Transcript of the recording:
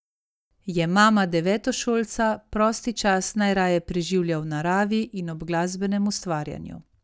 Je mama devetošolca, prosti čas najraje preživlja v naravi in ob glasbenem ustvarjanju.